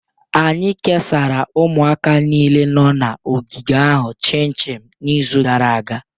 Anyị kesara ụmụaka niile nọ na ogige ahụ chinchin n'izu gara aga.